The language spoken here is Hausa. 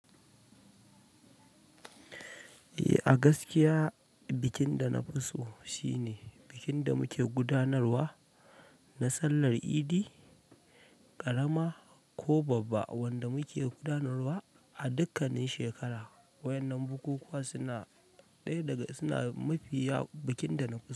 Eh, a gaskiya bikin da na fi so shine bikin da muke gudanarwa na sallar Idi ƙarama ko babba wanda muke gudanarwa a dukkanin shekara. Waƴannan bukukuwa suna ɗaya daga suna mafiya bikin da na fi so.